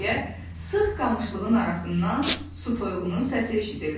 Deyə sıx qamışlığın arasından su toyuğunun səsi eşidildi.